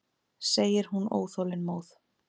segir hún óþolinmóð.